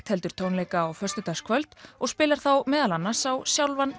heldur tónleika á föstudagskvöld og spilar þá meðal annars á sjálfan